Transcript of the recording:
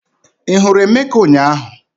Ị hụrụ Emeka ụnyahụ?